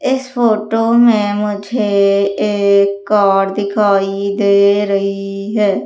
इस फोटो में मुझे एक कार दिखाई दे रही है।